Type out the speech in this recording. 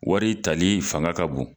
Wari tali fanga ka bon.